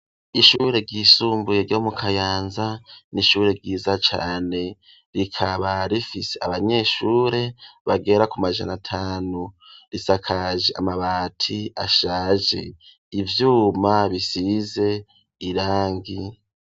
Ishure ry'isumbuye ryo mu kayanza n'ishure ryiza cane rikaba rifise abanyeshure bagera ku majana atanu risakaje amabati ashaje ivyuma bisize irangi.